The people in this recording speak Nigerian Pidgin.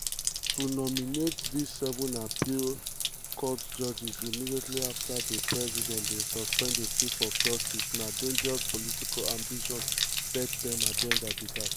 "to nominate dis 7 appeals court judges immediately afta di president bin suspend di chief justice na dangerous political ambition third-term agenda be dat".